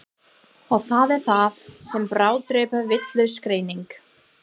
Og það er það sem bráðdrepur, vitlaus greining.